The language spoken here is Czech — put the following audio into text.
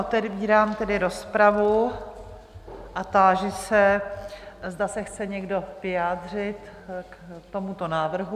Otevírám tedy rozpravu a táži se, zda se chce někdo vyjádřit k tomuto návrhu.